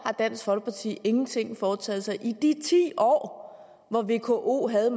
har dansk folkeparti ingenting foretaget sig i de ti år hvor vko havde